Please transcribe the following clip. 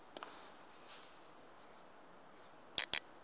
magidi